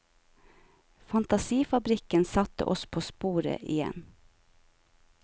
Fantasifabrikken satte oss på sporet igjen.